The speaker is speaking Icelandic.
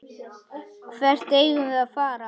Hvert eigum við að fara?